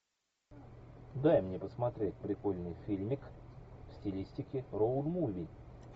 дай мне посмотреть прикольный фильмик в стилистике роуд муви